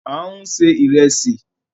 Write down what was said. À ń se ìrẹsì.